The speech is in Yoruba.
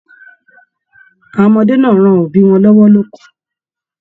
Àwọn ọmọdé náà ran òbí wọn lọwọ loko.